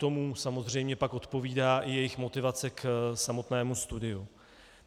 Tomu samozřejmě pak odpovídá i jejich motivace k samotnému studiu.